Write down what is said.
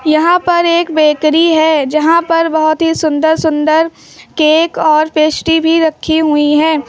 यहां पर एक बेकरी है जहां पर बहोत ही सुंदर सुंदर केक और पेस्ट्री भी रखी हुई है।